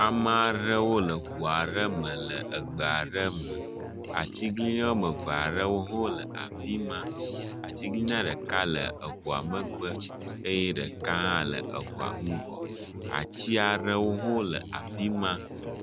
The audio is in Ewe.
Emeaɖewo le ʋuaɖe me le egbeaɖe me, atsiglinyi wɔmeveaɖewo hɔwó le afima, atsiglinia ɖeka le eʋua megbe eyɛ ɖeka hã le ŋugɔ, atsiaɖewohɔ le afima